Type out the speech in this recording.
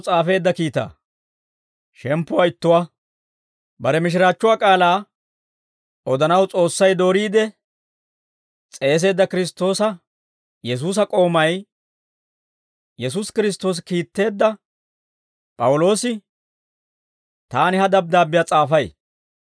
Bare mishiraachchuwaa k'aalaa odanaw S'oossay dooriide s'eeseedda Kiristtoosa Yesuusa k'oomay, Yesuusi Kiristtoosi kiitteedda P'awuloosi, taani ha dabddaabbiyaa s'aafay.